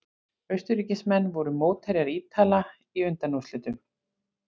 Austurríkismenn voru mótherjar Ítala í undanúrslitum.